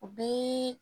O bɛ